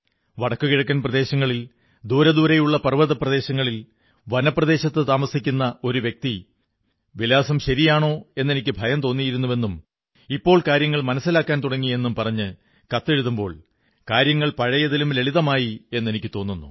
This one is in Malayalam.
വടക്കുകിഴക്കൻ പ്രദേശങ്ങളിൽ വിദൂരസ്ഥ പർവ്വത പ്രദേശങ്ങളിൽ വനപ്രദേശത്തു താമസിക്കുന്ന ഒരു വ്യക്തി വിലാസം ശരിയാണോ എെന്നനിക്ക് ഭയം തോന്നിയിരുന്നുവെന്നും ഇപ്പോൾ കാര്യങ്ങൾ മനസ്സിലാക്കാൻ തുടങ്ങി എന്നും പറഞ്ഞ് കത്തെഴുതുമ്പോൾ കാര്യങ്ങൾ പഴയതിലും ലളിതമായി എെന്നനിക്കു തോന്നുന്നു